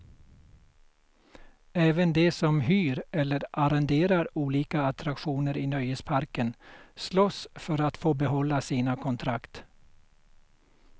Även de som hyr eller arrenderar olika attraktioner i nöjesparken slåss för att få behålla sina kontrakt.